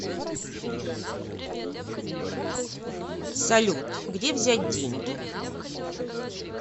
салют где взять деньги